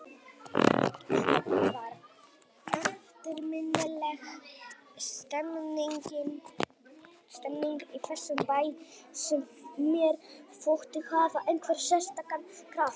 Það var eftirminnileg stemmning í þessum bæ sem mér þótti hafa einhvern sérstakan kraft.